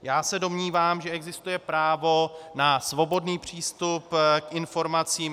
Já se domnívám, že existuje právo na svobodný přístup k informacím.